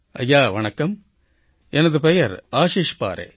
ஐயா வணக்கம் எனது பெயர் ஆஷீஷ் பாரே